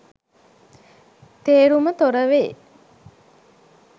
තේරුම තොර වේ.